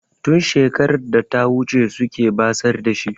Tun shekarar data wuce suke basar da shi.